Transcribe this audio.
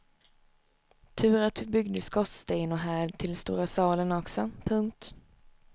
Tur att vi byggde skorsten och härd till stora salen också. punkt